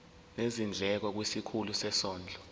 nezindleko kwisikhulu sezondlo